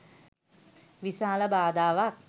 විශාල බාධාවක්.